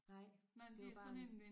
Nej det var bare